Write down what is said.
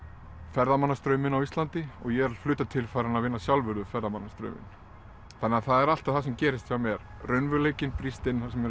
ferðamannastrauminn á Íslandi og ég er að hluta til farinn að vinna sjálfur við ferðamannastrauminn þannig að það er alltaf það sem gerist hjá mér raunveruleikinn brýst inn þar sem